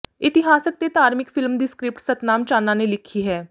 ਇਤਿਹਾਸਕ ਤੇ ਧਾਰਮਿਕ ਫ਼ਿਲਮ ਦੀ ਸਕਰਿਪਟ ਸਤਨਾਮ ਚਾਨਾ ਨੇ ਲਿਖੀ ਹੈ